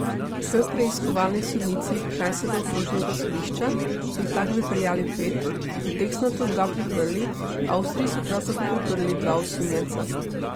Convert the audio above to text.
K preiskovalni sodnici kranjskega okrožnega sodišča so jih takrat pripeljali pet, od teh so nato dva priprli, v Avstriji so prav tako priprli dva osumljenca.